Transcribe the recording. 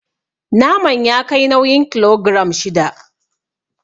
Naman ya kai nauyin kilogiram shida.